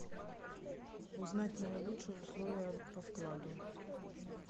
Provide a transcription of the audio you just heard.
узнать наилучшие условия по вкладу